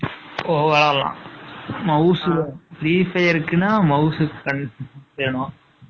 ஓ, விளையாடலாம்.. mouse, free fire க்குன்னா, mouse வேணும்.